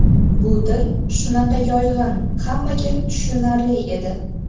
Bu til shunaqa yoyg‘in, hammaga tushunarli edi.